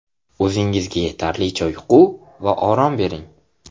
O‘zingizga yetarlicha uyqu va orom bering.